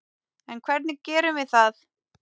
En hvernig gerum við það?